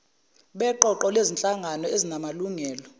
beqoqo lezinhlangano ezinamalungelo